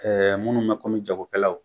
minnu mɛ kɔmi jakokɛlaw